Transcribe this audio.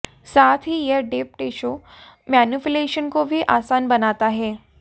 साथ ही यह डीप टिशू मैन्युपुलेशन को भी आसान बनाता है